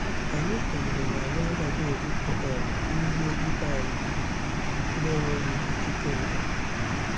Anyị kwenyere na anyị agaghị ebufe um ihe ibe anyị na-enweghị ikike mbụ.